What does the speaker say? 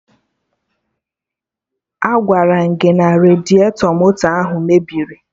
Agwaram gị na radiatọ moto ahụ mebiri!